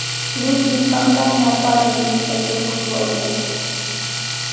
люди никогда не оказывались в таких условиях